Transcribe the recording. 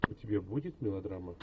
у тебя будет мелодрама